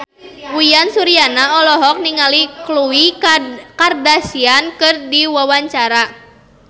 Uyan Suryana olohok ningali Khloe Kardashian keur diwawancara